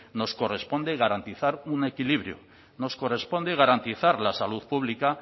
nos corresponde garantizar un equilibrio nos corresponde garantizar la salud pública